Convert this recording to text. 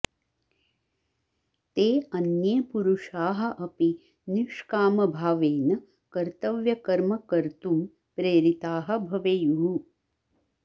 ते अन्ये पुरुषाः अपि निष्कामभावेन कर्तव्यकर्म कर्तुं प्रेरिताः भवेयुः